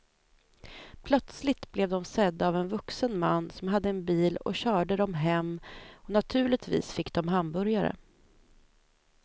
Plötsligt blev de sedda av en vuxen man som hade en bil och körde dem hem och naturligtvis fick de hamburgare.